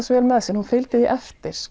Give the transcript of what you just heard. svo vel með sér fylgdi því eftir